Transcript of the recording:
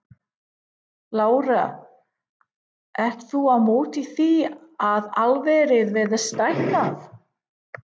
Lára: Ert þú á móti því að álverið verði stækkað?